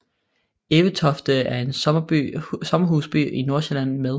Evetofte er en sommerhusby i Nordsjælland med